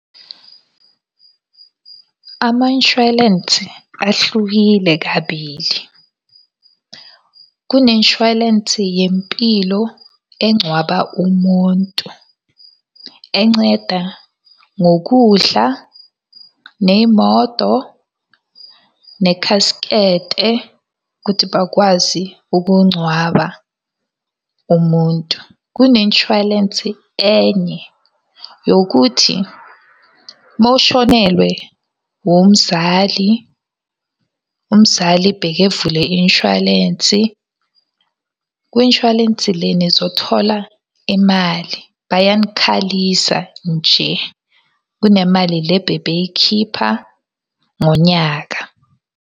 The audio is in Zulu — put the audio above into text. Ama-inshwalensi ahlukile kabili. Kune-inshwalensi yempilo engcwaba umuntu. Enceda ngokudla, ney'moto, nekhaskete ukuthi bakwazi ukungcwaba umuntu. Kune-inshwalensi enye yokuthi uma ushonelwe umzali, umzali bekevule i-inshwalensi. Kwi-inshwalensi le nizothola imali, bayanikhalisa nje. Kunemali le bebeyikhipha ngonyaka.